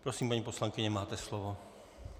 Prosím, paní poslankyně, máte slovo.